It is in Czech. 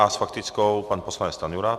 A s faktickou pan poslanec Stanjura.